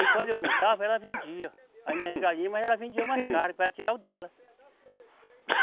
Aí quando eu não estava, ela vendia as minhas galinhas, mas ela vendia mais caro para tirar o dela.